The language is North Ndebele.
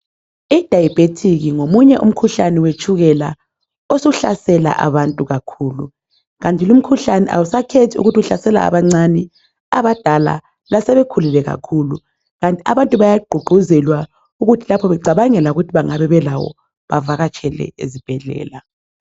I diabetic ngomunye umkhuhlane wetshukela osuhlasela abantu kakhulu kanti lumkhuhlane awusakhethi ukuthi uhlasela abancani, abadala lasebekhulile kakhulu. Abantu bayagqugquzelwa ukuthi lapho becabangela ukuthi bengabe belawo bavakatshele ezibhedlela.